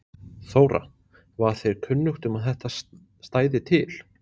Þóra: Var þér kunnugt um að þetta stæði til?